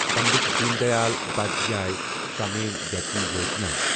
Pandit Deen Dayal Upadhyay Shramev Jayate Yojana